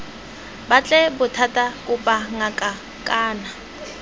batle bothata kopa ngaka kana